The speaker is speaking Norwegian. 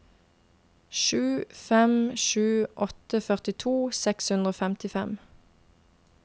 sju fem sju åtte førtito seks hundre og femtifem